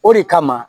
O de kama